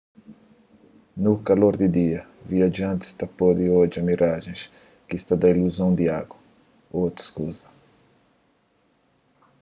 no kalor di dia viajantis pode odja mirajens ki ta da iluzon di agu ô otus kuza